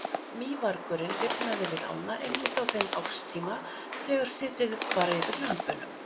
Mývargurinn lifnaði við ána einmitt á þeim árstíma þegar setið var yfir lömbunum.